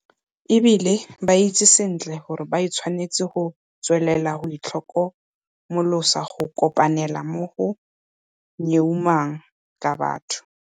E bile ba itse sentle gore ba tshwanetse go tswelela go itlhokomolosa go kopanela mo go nyeumang ka batho.